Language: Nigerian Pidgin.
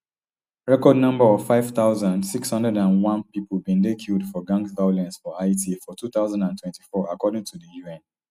record number of five thousand, six hundred and one pipo bin dey killed for gang violence for haiti for two thousand and twenty-four according to di un